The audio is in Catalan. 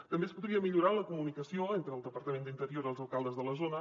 també es podria millorar la comunicació entre el departament d’interior i els alcaldes de la zona